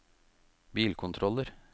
bilkontroller